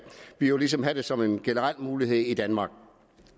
vi jo ligesom have det som en generel mulighed i danmark